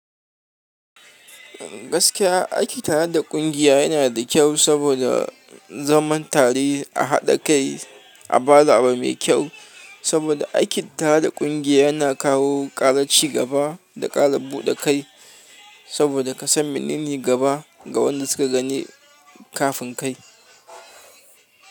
Gaskiya aiki tare da ƙungiya yanada saboda zaman tare a haɗa a bada abu mai kyau saboda aiki tare da ƙungiya yana kawo ƙara cigaba da ƙara buɗe kai. Saboda ka san menene gaba ga waɗanda suka gani kafin kai.